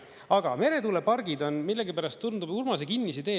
Aga meretuulepargid on, millegipärast tundub, Urmase kinnisidee.